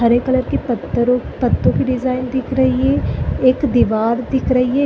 हरे colour की पतों पत्तों की डिजाइन दिख रही है एक दिवार दिख रही है।